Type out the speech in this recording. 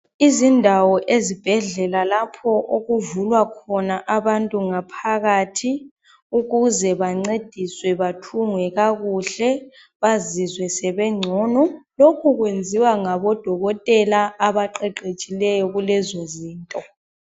Izindawo ezibhedlela lapho okuvulwa khona abantu ngaphakathi ukuze bancediswe bathungwe kakuhle bazizwe sebengcono. Lokhu kwenziwa ngabo dokotela abaqeqetshileyo kulezo zinto.